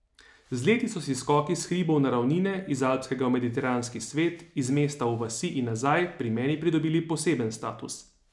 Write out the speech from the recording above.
Z leti so si skoki s hribov na ravnine, iz alpskega v mediteranski svet, iz mesta v vasi in nazaj pri meni pridobili poseben status.